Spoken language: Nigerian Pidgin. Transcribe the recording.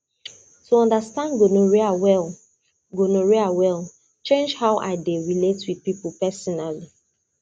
to understand gonorrhea well gonorrhea well change how i dey relate with people personally